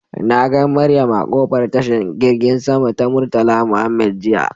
Nagan Mariam a kofar tashan girgin sama ta murtala Mohammed jiya.